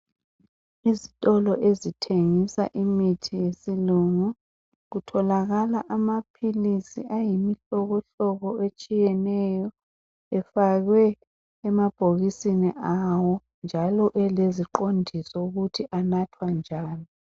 Izitolo ezitshengisa imithi yesilungu. Kutholakala amaphilisi ayimihlobohlobo etshiyeneyo, efakwe emabhokisini awo njalo eleziqondiso ukuthi anathwa njani.